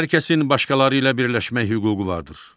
Hər kəsin başqaları ilə birləşmək hüququ vardır.